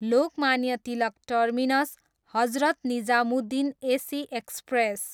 Lokmanya Tilak terminus, Hazrat Nizamuddin AC express